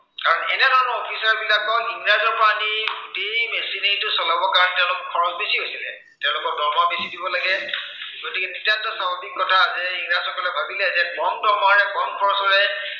কাৰণ এনেধৰণৰ officer ৰ বিলাকক ইংৰাজৰ পৰা আনি, সেই machinery টো চলাবলৈ তেওঁলোকৰ খৰচ বেছি হৈছিলে। তেওঁলোকক দৰমহা বেছি দিব লাগে, গতিকে নিতান্ত স্বাভাৱিক কথা যে, ইংৰাজসকলে ভাবিলে যে কম দৰমহাৰে কম খৰচেৰে